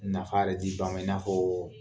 Nafa yɛrɛ di ba ma i n'a fɔ